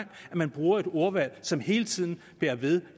man bruger et ordvalg som hele tiden bærer ved